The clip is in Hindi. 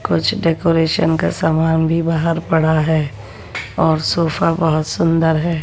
कुछ डेकोरेशन का सामान भी बाहर पड़ा है और सोफा बहुत सुंदर है।